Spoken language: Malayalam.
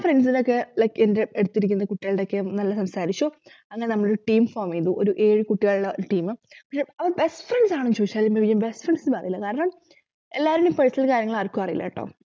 friends നോക്കെ like എന്റെ അടുത്തിരിക്കുന്ന കുട്ടികളുടെയൊക്കെ നല്ല friends ആയിരുന്നു ശോ അങ്ങനെ നമ്മളൊരു team form ചെയ്തു ഒരു ഏഴു കുട്ടികളെ team പക്ഷെ അവര് best friends ആണോന്നു ചോദിച്ചാൽ എന്താ best friends ഒന്നും ആവില്ല കാരണം എല്ലാരുടെയും personal കാര്യങ്ങൾ ആർക്കും അറീല്ലട്ടോ